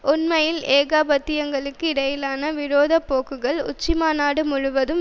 உண்மையில் ஏகாதிபத்தியங்களுக்கு இடையிலான விரோத போக்குகள் உச்சிமாநாடு முழுவதும்